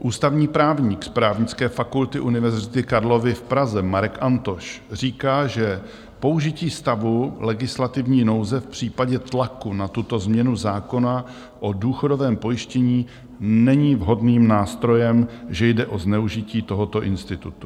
Ústavní právník z Právnické fakulty Univerzity Karlovy v Praze Marek Antoš říká, že použití stavu legislativní nouze v případě tlaku na tuto změnu zákona o důchodovém pojištění není vhodným nástrojem, že jde o zneužití tohoto institutu.